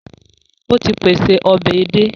Ó ti pèse ọbẹ̀ edé